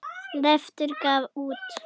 Leiftur gaf út.